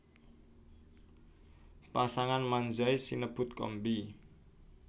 Pasangan Manzai sinebut Kombi